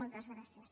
moltes gràcies